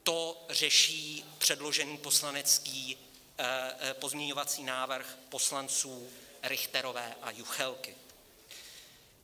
To řeší předložený poslanecký pozměňovací návrh poslanců Richterové a Juchelky.